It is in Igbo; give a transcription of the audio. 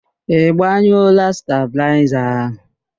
Ị gbanyụọla stabịlaịza ahụ?